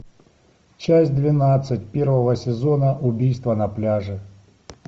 часть двенадцать первого сезона убийство на пляже